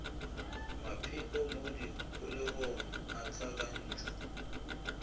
mapheko mo dikholegong a hlakantšhwa